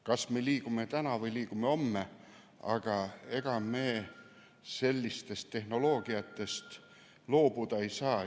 Kas me liigume täna või liigume homme, aga ega me sellisest tehnoloogiast loobuda ei saa.